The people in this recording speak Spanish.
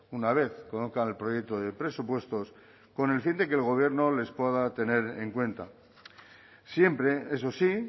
una vez conozcan el proyecto de presupuestos con el fin de que el gobierno les pueda tener en cuenta siempre eso sí